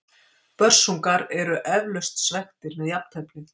Börsungar eru eflaust svekktir með jafnteflið.